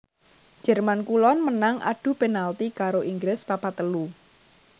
Jerman Kulon menang adu penalti karo Inggris papat telu